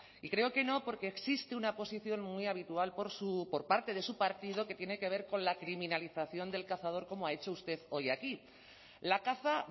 y creo que no porque existe una posición muy habitual por parte de su partido que tiene que ver con la criminalización del cazador como ha hecho usted hoy aquí la caza